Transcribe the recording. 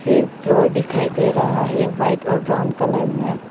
एक फ्लोर दिखाई दे रहा है व्हाइट और ब्राउन कलर में।